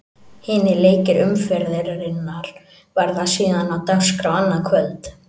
Hinir leikir umferðarinnar verða síðan á dagskrá annað kvöld.